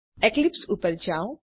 Eclipse ઉપર જાઓ